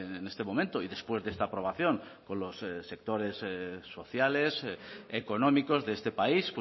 en este momento y después de esta aprobación con los sectores sociales económicos de este país